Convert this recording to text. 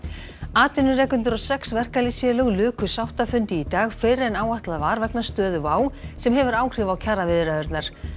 atvinnurekendur og sex verkalýðsfélög luku sáttafundi í dag fyrr en áætlað var vegna stöðu WOW sem hefur áhrif á kjaraviðræðurnar